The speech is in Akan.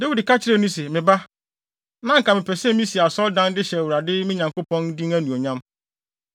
Dawid ka kyerɛɛ no se, “Me ba, na anka mepɛ sɛ misi asɔredan de hyɛ Awurade, me Nyankopɔn, din anuonyam.